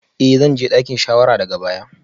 Eh zan je dakin shawara daga baya